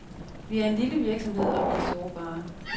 Vi er en lille virksomhed, og vi er sårbare.